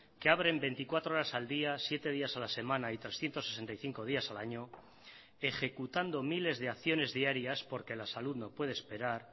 que abren veinticuatro horas al día siete días a la semana y trescientos sesenta y cinco días al año ejecutando miles de acciones diarias porque la salud no puede esperar